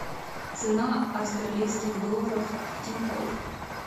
цена австралийских долларов в тинькофф